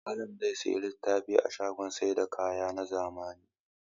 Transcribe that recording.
Malam zai sayi littafai a shagon sayar da kaya na zamani.